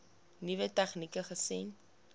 nuwe tegnieke gesien